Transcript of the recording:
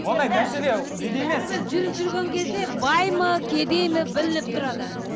ондай мәселе неде емес бәрібір жүріп жүрген кезде бай ма кедей ма білініп тұрады